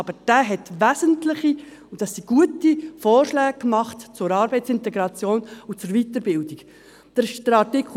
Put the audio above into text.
Aber dieser hat wesentliche, und das sind gute, Vorschläge zur Arbeitsintegration und Weiterbildung gemacht.